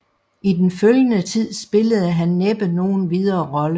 I den følgende Tid spillede han næppe nogen videre Rolle